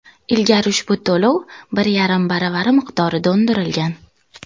Ilgari ushbu to‘lov bir yarim baravari miqdorida undirilgan.